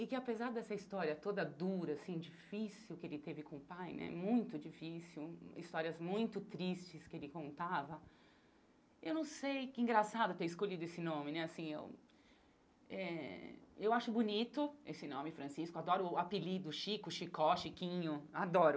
E que apesar dessa história toda dura, assim, difícil que ele teve com o pai, né, muito difícil, histórias muito tristes que ele contava, eu não sei que engraçado ter escolhido esse nome, né, assim, eu... Eh eu acho bonito esse nome, Francisco, adoro o apelido, Chico, Chicó, Chiquinho, adoro.